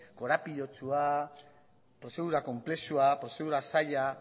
korapilatsua prozedura konplexua prozedura zaila